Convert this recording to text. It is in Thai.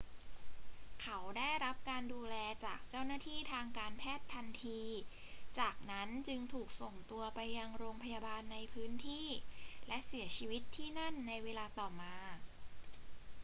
เขาได้รับการดูแลจากเจ้าหน้าที่ทางการแพทย์ทันที จากนั้นจึงถูกส่งตัวไปยังโรงพยาบาลในพื้นที่และเสียชีวิตที่นั่นในเวลาต่อมา